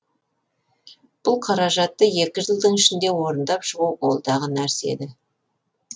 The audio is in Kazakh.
бұл қаражатты екі жылдың ішінде орындап шығу қолдағы нәрсе еді